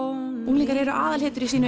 unglingar eru aðalhetjur í sínu